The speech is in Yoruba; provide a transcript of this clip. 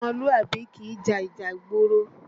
Ọmọlúàbí kìí ja ìjà ìgboro